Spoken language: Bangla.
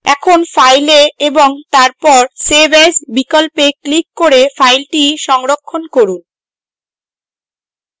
এখন file এ এবং তারপর save as বিকল্পে ক্লিক করে file সংরক্ষণ করুন